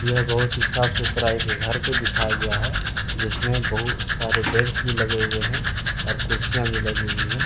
यह बहुत ही साफ सुथरा एक घर को दिखाया गया है जिसमें बहुत सारे बेंच भी लगे हुए हैं और कुर्सियां भी लगी हुई है।